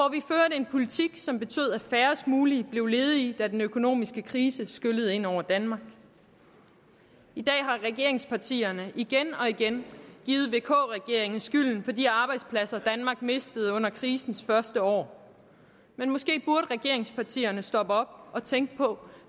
en politik som betød at færrest muligt blev ledige da den økonomiske krise skyllede ind over danmark i dag har regeringspartierne igen og igen givet vk regeringen skylden for de arbejdspladser danmark mistede under krisens første år men måske burde regeringspartierne stoppe op og tænke på